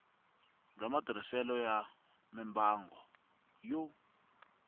bya matirhiselo ya mimbangu yo